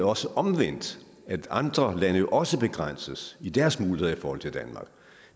også omvendt at andre lande også begrænses i deres muligheder i forhold til danmark